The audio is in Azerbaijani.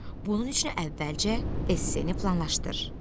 Bunun üçün əvvəlcə esse-ni planlaşdır.